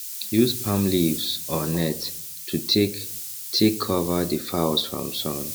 use palm leaves or net to take take cover the fowls from sun